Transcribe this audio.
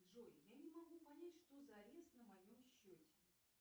джой я не могу понять что за арест на моем счете